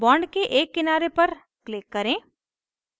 bond के एक किनारे पर click करें